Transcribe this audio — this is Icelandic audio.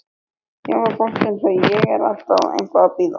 Jafnvel fólk eins og ég er alltaf eitthvað að bíða.